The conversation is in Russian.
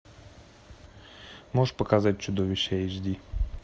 можешь показать чудовище эйч ди